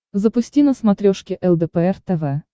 запусти на смотрешке лдпр тв